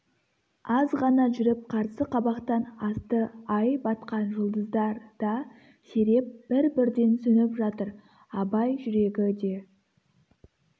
азғана жүріп қарсы қабақтан асты ай батқан жұлдыздар да сиреп бір-бірден сөніп жатыр абай жүрегі де